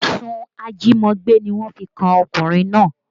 Ẹ̀sùn ajímọgbé ni wọ́n fi kan ọkùnrin náà